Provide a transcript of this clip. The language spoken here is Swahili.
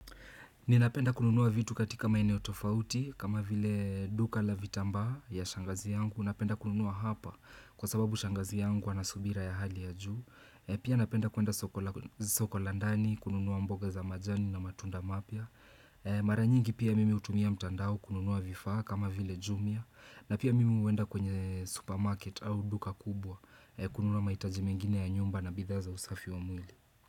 Ninapenda kununua vitu katika maeneo tofauti kama vile duka la vitamba ya shangazi yangu. Napenda kununua hapa kwa sababu shangazi yangu anasubira ya hali ya juu. Pia napenda kuenda soko la ndani, kununua mboga za majani na matunda mapya. Mara nyingi pia mimi hutumia mtandao kununua vifaa kama vile jumia. Na pia mimi huenda kwenye supermarket au duka kubwa kununua mahitaji mengine ya nyumba na bidhaa za usafi wa mwili.